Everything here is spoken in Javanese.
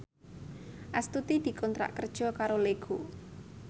Astuti dikontrak kerja karo Lego